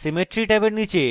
symmetry ট্যাবের নীচে